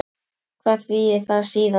Hvað þýðir það síðan?